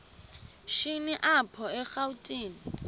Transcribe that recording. shini apho erawutini